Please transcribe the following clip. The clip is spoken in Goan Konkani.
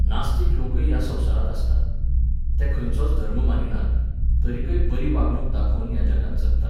नास्तीक लोकय ह्या संवसारांत आसतात. ते खंयचोच धर्म मानिनात, तरीकय बरी वागणूक दाखोवन ह्या जगांत जगतात